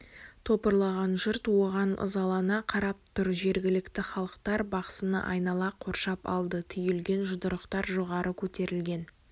топырлаған жұрт оған ызалана қарап тұр жергілікті халықтар бақсыны айнала қоршап алды түйілген жұдырықтар жоғары көтерілген